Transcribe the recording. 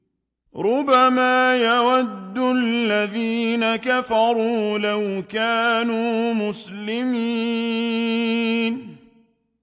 رُّبَمَا يَوَدُّ الَّذِينَ كَفَرُوا لَوْ كَانُوا مُسْلِمِينَ